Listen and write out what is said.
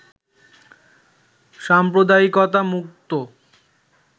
সাম্প্রদায়িকতামুক্ত